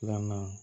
Filanan